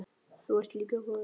Þú ert líka góður.